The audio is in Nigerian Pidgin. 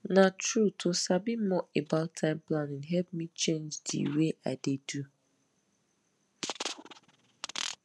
na true to sabi more about time planning help me change di way i dey do